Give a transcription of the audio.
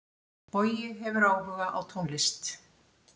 Bogi hefur áhuga á tónlist.